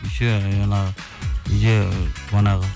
еще жаңағы үйде манағы